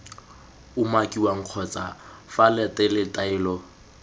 umakiwang kgotsa f latele taelo